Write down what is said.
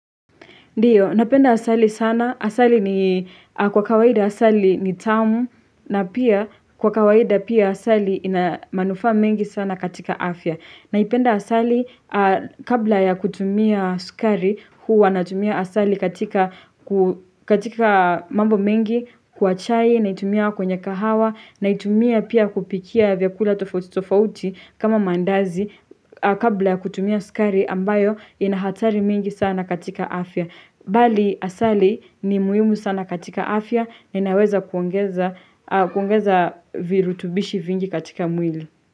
Ndio, napenda asali sana. Asali ni kwa kawaida asali ni tamu na pia kwa kawaida pia asali inamanufaa mengi sana katika afya. Naipenda asali kabla ya kutumia sukari huwa natumia asali katika mambo mengi kwa chai naitumia kwenye kahawa na itumia pia kupikia vyakula tofauti tofauti kama maandazi kabla ya kutumia sukari ambayo yana hatarari mingi sana katika afya. Bali asali ni muhiumu sana katika afya na inaweza kuongeza virutubishi vingi katika mwili.